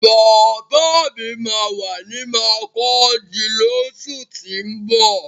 Bàbá mi máa wà ní makurdi lósù tín bọ̀